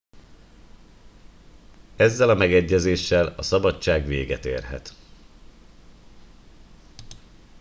ezzel a megegyezéssel a szabadság véget érhet